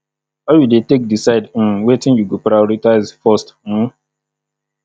how you dey take decide um wetin you go prioritize first um